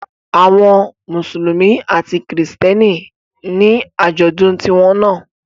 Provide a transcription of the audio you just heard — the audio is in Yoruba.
Àwọn Mùsùlùmí àti àwọn Kristẹni ní àjọ̀dún tiwọn náà